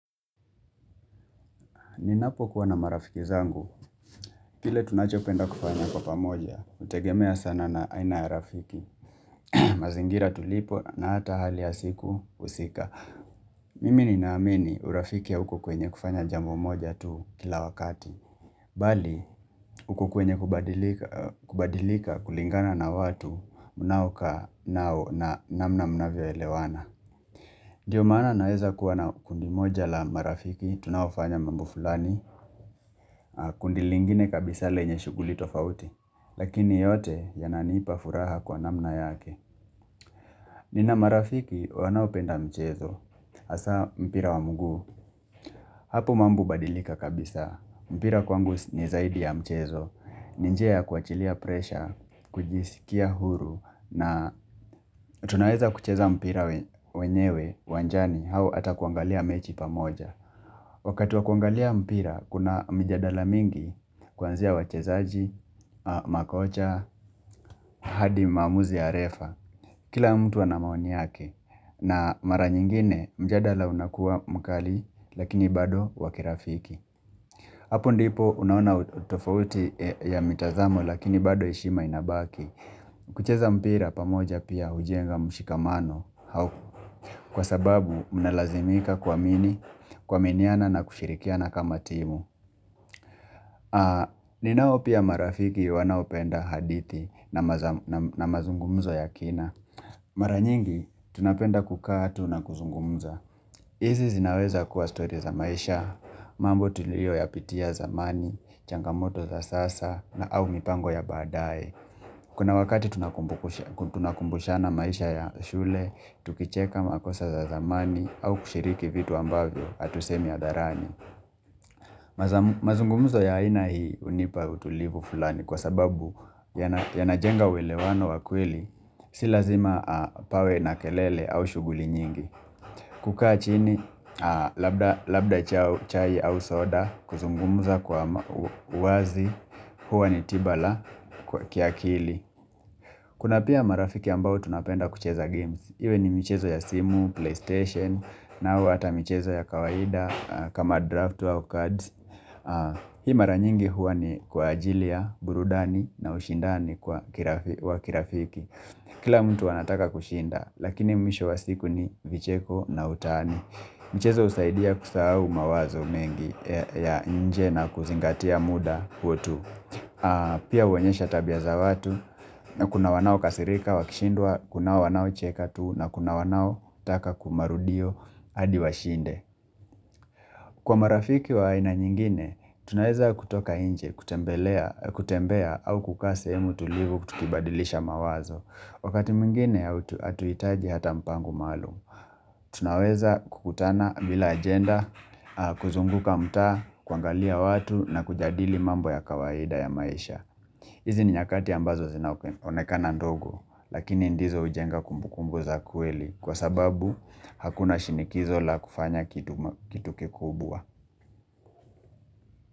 Ninapokuwa na marafiki zangu, kile tunachopenda kufanya kwa pamoja, hutegemea sana na aina ya rafiki mazingira tulipo na hata hali ya siku husika Mimi ninaamini urafiki ya huku kwenye kufanya jambo moja tu kila wakati Bali, huku kwenye kubadilika kulingana na watu mnaokaa nao na namna mnavyoelewana ndio mana naeza kuwa na kundi moja la marafiki, tunaofanya mambo fulani kundi lingine kabisa lenye shughuli tofauti Lakini yote yananipa furaha kwa namna yake Nina marafiki wanapenda mchezo hasa mpira wa mguu Hapu mambo hubadilika kabisa mpira kwangu ni zaidi ya mchezo ni njia ya kuachilia presha kujisikia huru na tunaweza kucheza mpira wenyewe uwanjani au ata kuangalia mechi pamoja Wakati wa kuangalia mpira Kuna mijadala mingi Kuanzia wachezaji, makocha, hadi maamuzi ya refa Kila mtu ana maoni yake na mara nyingine mjadala unakua mkali lakini bado wa kirafiki Hapo ndipo unaona utofauti ya mitazamo lakini bado heshima inabaki kucheza mpira pamoja pia hujenga mshikamano Kwa sababu mnalazimika kuamini, kuaminiana na kushirikiana kama timu ninao pia marafiki wanaopenda hadithi na mazungumzo ya kina Maranyingi, tunapenda kukaa tu na kuzungumza hizi zinaweza kuwa story za maisha, mambo tulioyapitia zamani, changamoto za sasa na au mipango ya baadae Kuna wakati tunakumbushana maisha ya shule, tukicheka makosa za zamani au kushiriki vitu ambavyo hatusemi hadharani mazungumuzo ya aina hii hunipa utulivu fulani kwa sababu yanajenga uwelewano wa kweili Si lazima pawe na kelele au shughuli nyingi kukaa chini labda chai au soda kuzungumuza kwa wazi huwa ni tiba la kiakili Kuna pia marafiki ambao tunapenda kucheza games Iwe ni michezo ya simu, playstation, nao ata michezo ya kawaida kama draft au cards Hii mara nyingi huwa ni kwa ajili ya, burudani na ushindani kwa kirafiki Kila mtu anataka kushinda, lakini mwisho wa siku ni vicheko na utani michezo husaidia kusahau mawazo mengi ya nje na kuzingatia muda huo tu Pia huonyesha tabia za watu Kuna wanaokasirika, wakishindwa, kuna wanaocheka tu na kuna wanao taka kumarudio hadi washinde Kwa marafiki wa aina nyingine Tunaweza kutoka nje, kutembelea, kutembea au kukaa sehemu tulivu kutukibadilisha mawazo Wakati mwingine, hatuhitaji hata mpango maalum Tunaweza kukutana bila agenda kuzunguka mtaa, kuangalia watu na kujadili mambo ya kawaida ya maisha hizi ni nyakati ambazo zinaonekana ndogo, lakini ndizo hujenga kumbu kumbu za kweli kwa sababu hakuna shinikizo la kufanya kitu kikubwa.